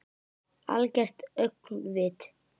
Algert öngvit!